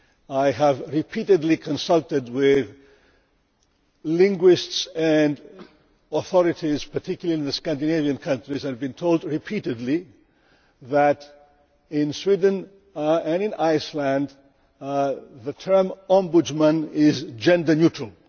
I have repeatedly consulted with linguists and authorities, particularly in the Scandinavian countries, and have been told repeatedly that in Sweden and Iceland the term Ombudsman' is gender neutral.